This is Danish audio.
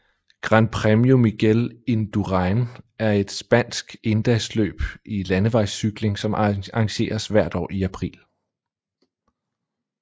Gran Premio Miguel Indurain er et spansk endagsløb i landevejscykling som arrangeres hvert år i april